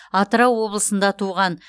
атырау облысында туған